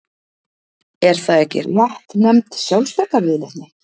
Er það ekki réttnefnd sjálfsbjargarviðleitni?